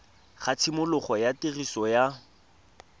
ga tshimologo ya tiriso ya